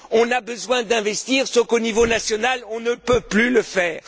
On a besoin d'investir, sauf qu'au niveau national on ne peut plus le faire!